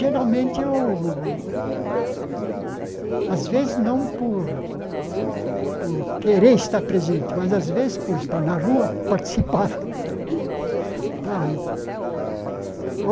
Geralmente, eu às vezes, não por por querer estar presente, mas, às vezes, por estar na rua, participava tal e.